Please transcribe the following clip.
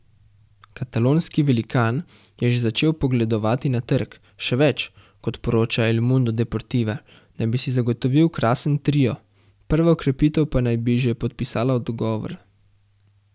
Katalonski velikan je že začel pogledovati na trg, še več, kot poroča El Mundo Deportiva naj bi si zagotovil krasen trio, prva okrepitev pa naj bi že podpisala dogovor.